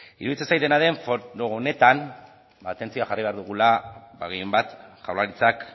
iruditzen zait dena den honetan atentzioa jarri behar dugula gehienbat jaurlaritzak